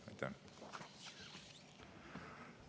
Aitäh!